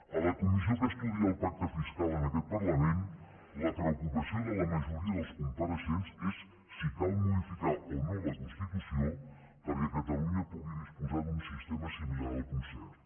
a la comissió que estudia el pacte fiscal en aquest parlament la preocupació de la majoria dels compareixents és si cal modificar o no la constitució perquè catalunya pugui disposar d’un sistema similar al concert